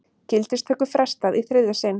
Gildistöku frestað í þriðja sinn